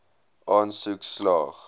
aansoek slaag